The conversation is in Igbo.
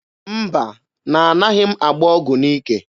Mba, na-anaghị m agba ọgụ n'ike.